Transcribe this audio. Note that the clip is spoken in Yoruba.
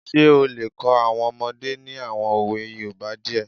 Ṣé ó lè kọ́ àwọn ọmọdé ní àwọn òwe yoòbá díẹ̀?